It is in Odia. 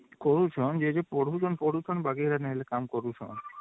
କରୁଛନ ଯିଏ ଯିଏ ପଢୁଛନ ପଢୁଛନ ବାକି କାମ କରୁଛନ